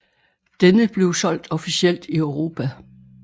Denne blev solgt officielt i Europa